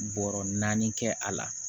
Bɔrɔ naani kɛ a la